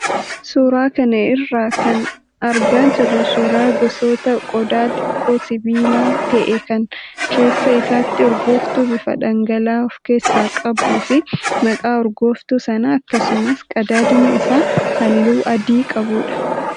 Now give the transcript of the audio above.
Suuraa kana irraa kan argaa jirru suuraa gosa qodaa xiqqoo sibiila ta'ee kan keessa isaatti urgooftuu bifa dhangala'aan of keessaa qabuu fi maqaa urgooftuu sanaa akkasumas qadaadni isaa halluu adii qabudha.